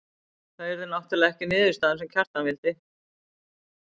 Það yrði náttúrlega ekki niðurstaðan sem Kjartan vildi.